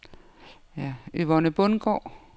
Yvonne Bundgaard